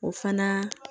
O fana